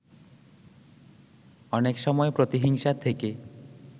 অনেক সময় প্রতিহিংসা থেকে